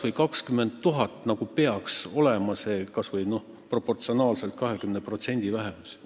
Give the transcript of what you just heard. Miks ei ole neid vähemalt 20 000?